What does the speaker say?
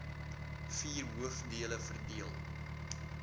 vier hoofdele verdeel